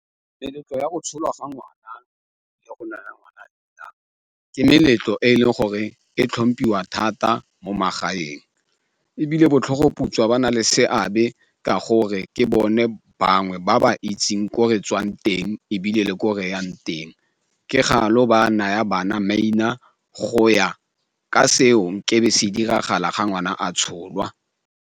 Meletlo ya go tsholwa ga ngwana le go naya ngwana leina ke meletlo e leng gore e tlhomphiwa thata mo magaeng, ebile botlhogoputswa ba na le seabe ka gore ke bone bangwe ba ba itseng ko re tswang teng ebile le ko reyang teng ba naya bana maina go ya ka seo ke se diragala ga ngwana a tsholwa.